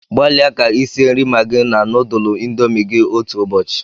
Gbalịa ka i sie nri Maggi na nudulu indomi gị otu ụbọchị